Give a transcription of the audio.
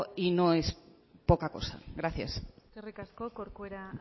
y no es poca cosa gracias eskerrik asko corcuera